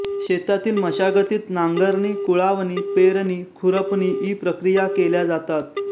शेतातील मशागतीत नांगरणी कुळावणी पेरणी खुरपणी इ प्रक्रिया केल्या जातात